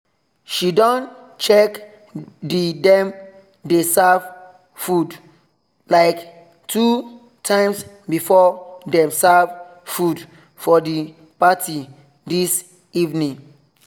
she don check the dem dey serve food like two times before them serve food for the party this evening